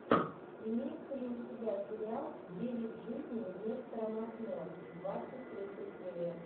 имеется ли у тебя сериал девять жизней нестора махно двадцать третья серия